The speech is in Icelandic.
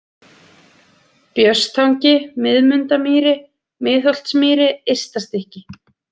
Björnstangi, Miðmundamýri, Miðholtsmýri, Ystastykki